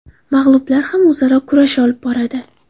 Mag‘lublar ham o‘zaro kurash olib boradi.